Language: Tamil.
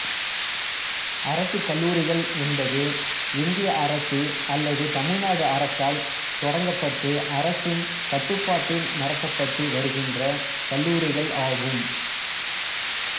அரசு கல்லூரிகள் என்பது இந்திய அரசு அல்லது தமிழ்நாடு அரசால் தொடங்கப்பட்டு அரசின் கட்டுப்பாட்டில் நடத்தப்பட்டு வருகின்ற கல்லூரிகள் ஆகும்